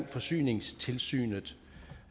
forsyningstilsynet